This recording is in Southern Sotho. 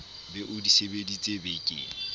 be o di sebeditse bekeng